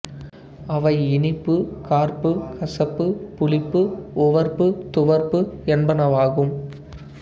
அவை இனிப்பு கார்ப்பு கசப்பு புளிப்பு உவர்ப்பு துவர்ப்பு என்பனவாகும்